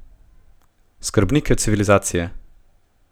Skrbnike civilizacije!